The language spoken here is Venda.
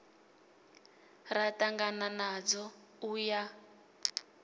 ra ṱangana nadzo u ya